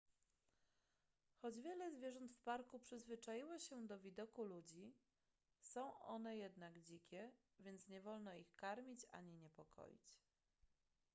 choć wiele zwierząt w parku przyzwyczaiło się do widoku ludzi są one jednak dzikie więc nie wolno ich karmić ani niepokoić